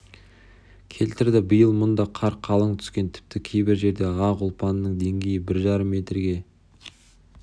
келтірді биыл мұнда қар қалың түскен тіпті кейбір жерде ақ ұлпаның деңгейі бір жарым метрге